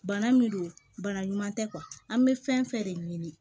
Bana min don bana ɲuman tɛ an bɛ fɛn fɛn de ɲini